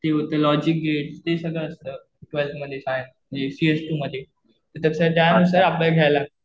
ते होतं logic gate ते सगळं असतं. ट्वेलथ मध्ये काय हे सीएस टू मध्ये. तसं त्यानुसार आपल्याला घ्यायला लागतं